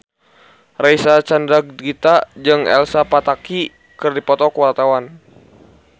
Reysa Chandragitta jeung Elsa Pataky keur dipoto ku wartawan